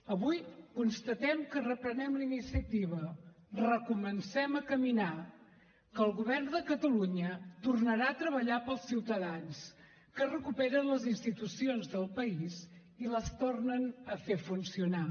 avui constatem que reprenem la iniciativa recomencem a caminar que el govern de catalunya tornarà a treballar pels ciutadans que es recuperen les institucions del país i les tornen a fer funcionar